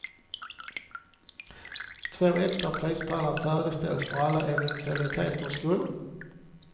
Två extra prispallar färdigställs för alla eventualiteters skull.